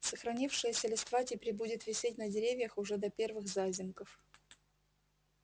сохранившаяся листва теперь будет висеть на деревьях уже до первых зазимков